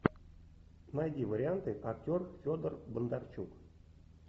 найди варианты актер федор бондарчук